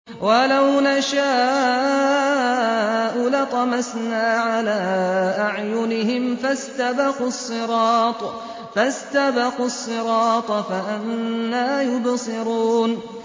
وَلَوْ نَشَاءُ لَطَمَسْنَا عَلَىٰ أَعْيُنِهِمْ فَاسْتَبَقُوا الصِّرَاطَ فَأَنَّىٰ يُبْصِرُونَ